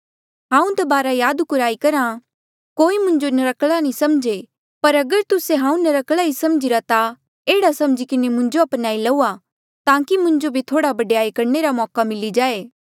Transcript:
हांऊँ दबारा याद कुराई करहा कोई मुंजो नर्क्कला नी समझे पर अगर तुस्से हांऊँ नर्क्कला ही समझीरा ता एह्ड़ा समझी किन्हें मुंजो अपनाई लऊआ ताकि मुंजो भी थोहड़ा बडयाई करणे रा मौका मिली जाये